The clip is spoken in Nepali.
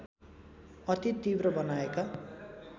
अति तिब्र बनाएका